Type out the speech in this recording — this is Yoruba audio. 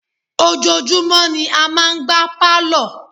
ojoojúmọ́ ni a máa ń gbá Pálọ̀.